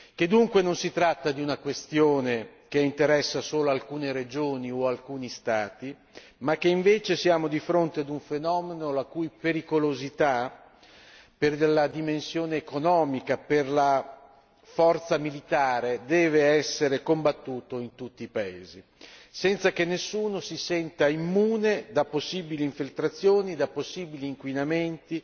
che dunque non si tratta di una questione che interessa solo alcune regioni o alcuni Stati, ma che invece siamo di fronte ad un fenomeno la cui pericolosità per la dimensione economica, per la forza militare, deve essere combattuto in tutti i paesi, senza che nessuno si senta immune da possibili infiltrazioni, da possibili inquinamenti